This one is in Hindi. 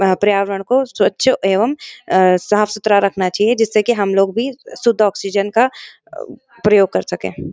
आ पर्यावरण को स्वच्छ एवं साफ-सुथरा रखना चाहिए जिससे की हम लोग भी शुद्ध आक्सिजन का प्रयोग कर सकें।